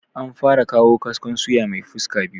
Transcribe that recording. An fara kawo kaskon suya mai fuska biyu